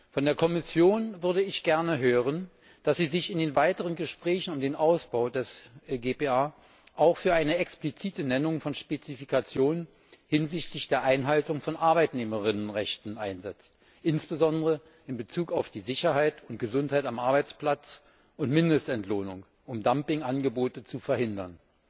Von der Kommission würde ich gerne hören, dass sie sich in den weiteren Gesprächen um den Ausbau des GPA auch für eine explizite Nennung von Spezifikationen hinsichtlich der Einhaltung von Arbeitnehmerinnenrechten einsetzt, insbesondere in Bezug auf die Sicherheit und Gesundheit am Arbeitsplatz und die Mindestentlohnung, um Dumpingangebote zu verhindern.